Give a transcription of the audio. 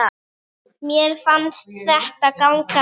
Mér fannst þetta ganga vel.